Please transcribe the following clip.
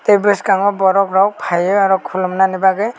boskango borok rok pai oe oro kolom nani bagoi.